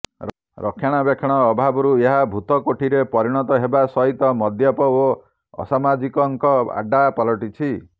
ରକ୍ଷଣାବେକ୍ଷଣ ଅଭାବରୁ ଏହା ଭୂତକୋଠିରେ ପରିଣତ ହେବା ସହିତ ମଦ୍ୟପ ଓ ଅସାମାଜିକଙ୍କ ଆଡ୍ଡା ପାଲଟିଛି